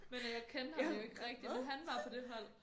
Men øh jeg kendte ham jo ikke rigtig men han var på det hold